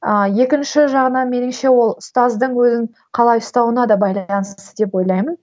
ыыы екінші жағынан меніңше ол ұстаздың өзін қалай ұстауына да байланысты деп ойлаймын